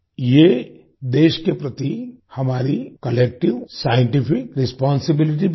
ये देश के प्रति हमारी कलेक्टिव साइंटिफिक रिस्पांसिबिलिटी भी है